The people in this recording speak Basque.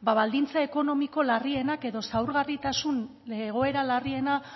baldintza ekonomiko larrienak edo zaurgarritasun egoera larriena